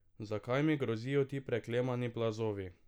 Zakaj mi grozijo ti preklemani plazovi?